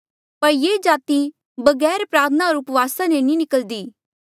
[पर ये जाति बगैर प्रार्थना होर उपवासा ले नी निकल्दी]